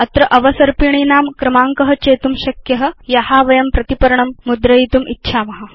अत्र वयं अवसर्पिणीनां क्रमाङ्कं चेतुं शक्नुम या वयं प्रतिपर्णं मुद्रयितुम् इच्छाम